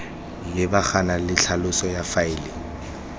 lebagana le tlhaloso ya faele